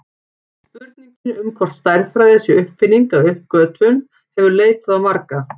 Spurningin um hvort stærðfræði sé uppfinning eða uppgötvun hefur leitað á marga.